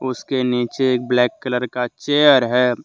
उसके नीचे एक ब्लैक कलर का चेयर है।